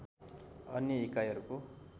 अन्य इकाइहरूको